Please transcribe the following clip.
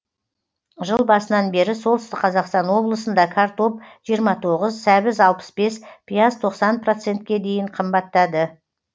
жыл басынан бері солтүстік қазақстан облысында картоп жиырма тоғыз сәбіз алпыс бес пияз тоқсан процентке дейін қымбаттады